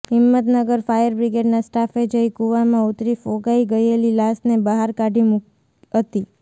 Himmatnagar fire બ્રિગેડના સ્ટાફે જઇ કૂવામાં ઉતરી ફોગાઇ ગયેલી લાશને બહાર કાઢી હતી